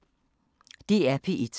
DR P1